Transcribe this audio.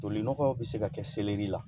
Toli nɔgɔw bɛ se ka kɛ selɛri la